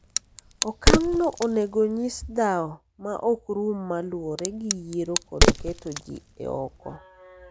Okang'no onego onyis dhao ma ok rum ma luwore gi yiero kod keto ji e oko